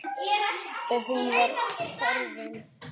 Og hún var horfin.